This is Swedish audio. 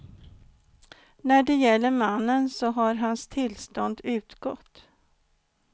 När det gäller mannen så har hans tillstånd utgått.